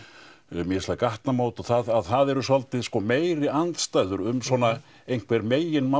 mislæg gatnamót og það að það eru svolítið sko meiri andstæður um svona einhver meginmál